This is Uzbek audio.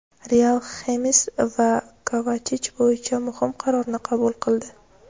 "Real" Xames va Kovachich bo‘yicha muhim qarorni qabul qildi.